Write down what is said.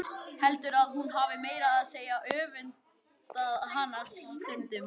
Heldur að hún hafi meira að segja öfundað hana stundum.